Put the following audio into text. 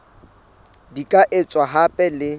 di ka etswa hape le